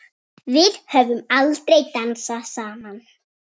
Við höfum aldrei dansað saman.